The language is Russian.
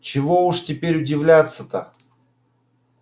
чего уж теперь удивляться-то